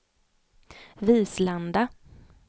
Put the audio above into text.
Vislanda